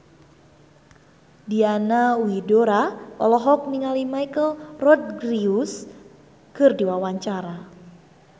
Diana Widoera olohok ningali Michelle Rodriguez keur diwawancara